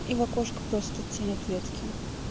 его кошка просто тень от ветки